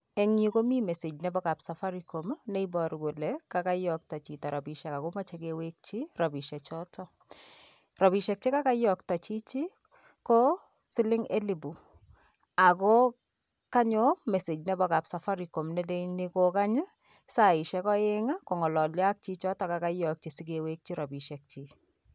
Eng yu komi message nepo kap safaricom, neiporu kole kakoiyokto chito rapishek ako moche kewekchi rapishechoto. Rapishek che kakeyokto chichi ko siling elipu ako kanyo message nepo kap safaricom neleyni kokany saishek oeng kong'ololyo ak chichoto kakeyokchi sikewekchi rapishekchi.